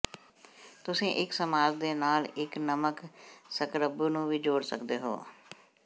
ਤੁਸੀਂ ਇੱਕ ਮਸਾਜ ਦੇ ਨਾਲ ਇੱਕ ਨਮਕ ਸਕਰਬੂ ਨੂੰ ਵੀ ਜੋੜ ਸਕਦੇ ਹੋ